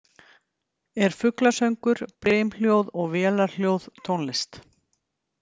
Er fuglasöngur, brimhljóð og vélarhljóð tónlist?